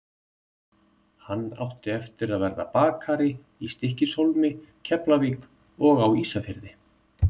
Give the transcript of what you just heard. Hann átti eftir að verða bakari í Stykkishólmi, Keflavík og á Ísafirði.